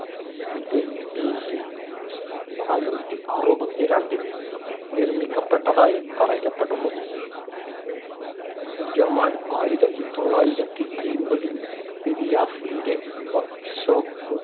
ഇത് BC നാനൂറ്റി അറുപത്തിരണ്ടില്‍ നിർമ്മിക്കപ്പെട്ടതായി പറയപ്പെടുന്നു ആയിരത്തി തൊള്ളായിരത്തി അയ്‌മ്പതിൽ ഫിദിയാസിന്‍റെ workshop